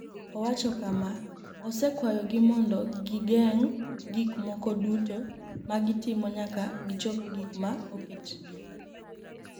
Owacho kama: “Osekwayogi mondo gigeng’ gik moko duto ma gitimo nyaka gichop gik ma oketgi.”